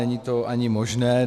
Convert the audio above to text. Není to ani možné.